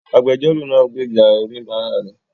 Agbẹjọ́rò náà gbèjà oníbàárà rẹ̀